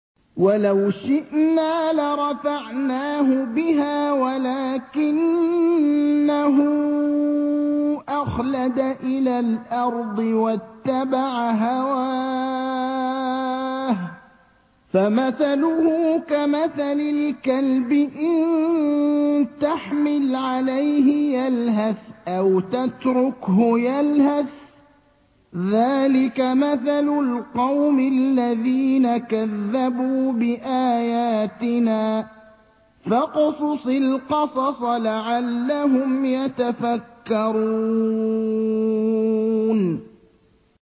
وَلَوْ شِئْنَا لَرَفَعْنَاهُ بِهَا وَلَٰكِنَّهُ أَخْلَدَ إِلَى الْأَرْضِ وَاتَّبَعَ هَوَاهُ ۚ فَمَثَلُهُ كَمَثَلِ الْكَلْبِ إِن تَحْمِلْ عَلَيْهِ يَلْهَثْ أَوْ تَتْرُكْهُ يَلْهَث ۚ ذَّٰلِكَ مَثَلُ الْقَوْمِ الَّذِينَ كَذَّبُوا بِآيَاتِنَا ۚ فَاقْصُصِ الْقَصَصَ لَعَلَّهُمْ يَتَفَكَّرُونَ